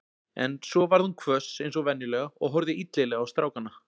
En svo varð hún hvöss eins og venjulega og horfði illilega á strákana.